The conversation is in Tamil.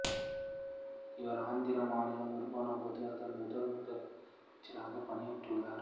இவர் ஆந்திர மாநிலம் உருவானபோது அதன் முதல் முதலமைச்சராகப் பணியாற்றினார்